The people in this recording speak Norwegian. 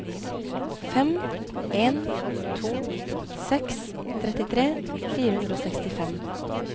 fem en to seks trettitre fire hundre og sekstifem